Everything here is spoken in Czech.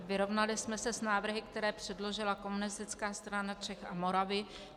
Vyrovnali jsme se s návrhy, které předložila Komunistická strana Čech a Moravy.